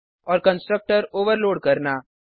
और constructor overload करना